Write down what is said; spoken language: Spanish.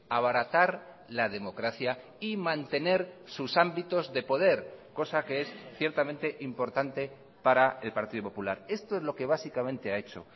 abaratar la democracia y mantener sus ámbitos de poder cosa que es ciertamente importante para el partido popular esto es lo que básicamente ha hecho